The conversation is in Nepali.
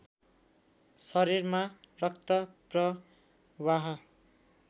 शरीरमा रक्त प्रवाह